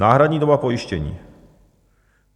Náhradní doba pojištění.